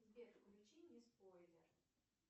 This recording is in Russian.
сбер включи не спойлер